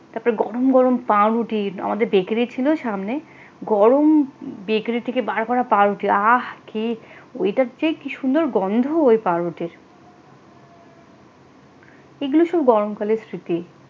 তারপরে গরম গরম পাউরুটি আমাদের বেকারি ছিল সামনে গরম বেকারি থেকে বার করা পাউরুটি আহ কি ওইটার যে কি সুন্দর গন্ধ ওই পাউরুটির এগুলো সব গরম কালের স্মৃতি,